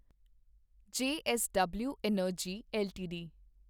JSW energy LTD